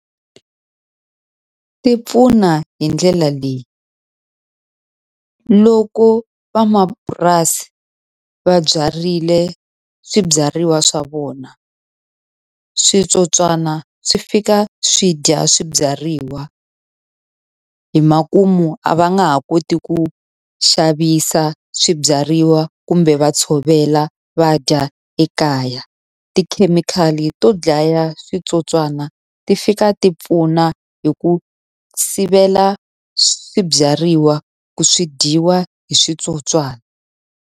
Ti pfuna hi ndlela leyi. Loko van'wamapurasi va byarile swibyariwa swa vona switsotswana swi fika swi dya swibyariwa, hi makumu a va nga ha koti ku xavisa swibyariwa kumbe va tshovela va dya ekaya. Tikhemikhali to dlaya switsotswana ti fika ti pfuna hi ku sivela swibyariwa ku swi dyiwa hi switsotswani.